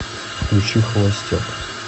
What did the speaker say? включи холостяк